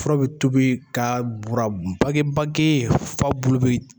Fura bi tobi ka bura bakibaki f'a bulu bi